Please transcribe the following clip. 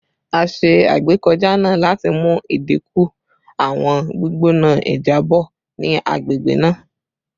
A ṣe agbekọja naa lati mu idinku awọn gbigbona ijabọ ni agbegbe naa